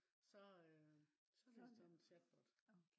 så øh så det sådan en chatbot